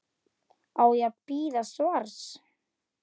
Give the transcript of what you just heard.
Á ég að bíða svars?